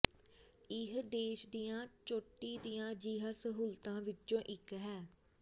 ਇਹ ਦੇਸ਼ ਦੀਆਂ ਚੋਟੀ ਦੀਆਂ ਅਜਿਹੀਆਂ ਸਹੂਲਤਾਂ ਵਿੱਚੋਂ ਇੱਕ ਹੈ